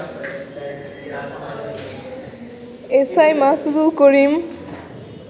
SI Masudul Karim